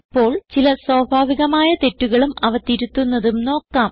ഇപ്പോൾ ചില സ്വാഭാവികമായ തെറ്റുകളും അവ തിരുത്തുന്നതും നോക്കാം